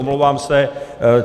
Omlouvám se.